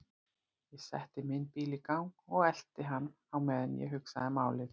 Ég setti minn bíl í gang og elti hann á meðan ég hugsaði málið.